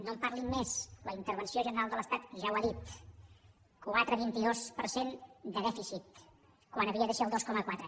no en parlin més la intervenció general de l’estat ja ho ha dit quatre coma vint dos per cent de dèficit quan havia de ser el dos coma quatre